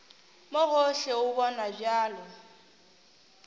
mo gohle o bonwa bjalo